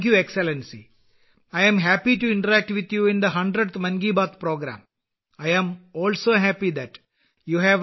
നന്ദി എക്സലൻസി നൂറാമത് മൻ കിബാത്ത് പരിപാടിയിൽ നിങ്ങളുമായി സംവദിക്കുന്നതിൽ എനിക്ക് സന്തോഷമുണ്ട്